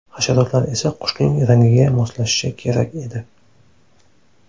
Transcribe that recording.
Hasharotlar esa qushning rangiga moslashishi kerak edi.